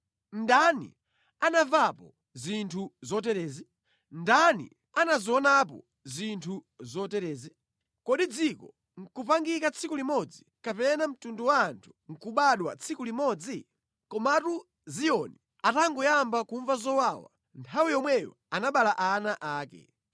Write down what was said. Ndani anamvapo zinthu zoterezi? Ndani anazionapo zinthu zoterezi? Kodi dziko nʼkupangika tsiku limodzi, kapena mtundu wa anthu nʼkubadwa tsiku limodzi? Komatu Ziyoni atangoyamba kumva zowawa nthawi yomweyo anabereka ana ake.